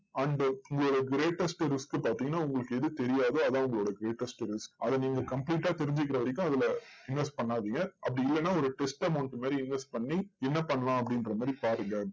and உங்களோட greatest risk பாத்தீங்கன்னா, உங்களுக்கு எது தெரியாதோ அதுதான் உங்களோட greatest risk அதை நீங்க complete ஆ தெரிஞ்சுக்கிற வரைக்கும் அதுல invest பண்ணாதீங்க. அப்படி இல்லன்னா ஒரு test amount மாதிரி invest பண்ணி என்ன பண்ணலாம் அப்படின்ற மாதிரி பாருங்க.